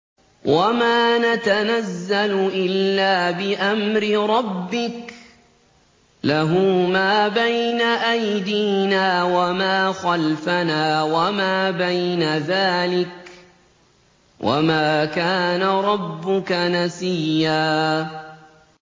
وَمَا نَتَنَزَّلُ إِلَّا بِأَمْرِ رَبِّكَ ۖ لَهُ مَا بَيْنَ أَيْدِينَا وَمَا خَلْفَنَا وَمَا بَيْنَ ذَٰلِكَ ۚ وَمَا كَانَ رَبُّكَ نَسِيًّا